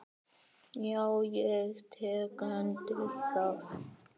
Já, ég tek undir það.